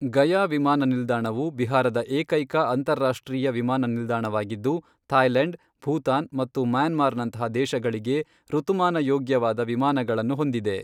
ಗಯಾ ವಿಮಾನ ನಿಲ್ದಾಣವು ಬಿಹಾರದ ಏಕೈಕ ಅಂತಾರಾಷ್ಟ್ರೀಯ ವಿಮಾನ ನಿಲ್ದಾಣವಾಗಿದ್ದು, ಥಾಯ್ಲೆಂಡ್, ಭೂತಾನ್ ಮತ್ತು ಮ್ಯಾನ್ಮಾರ್ನಂತಹ ದೇಶಗಳಿಗೆ ಋತುಮಾನಯೋಗ್ಯವಾದ ವಿಮಾನಗಳನ್ನು ಹೊಂದಿದೆ.